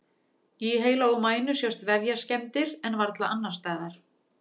Í heila og mænu sjást vefjaskemmdir en varla annars staðar.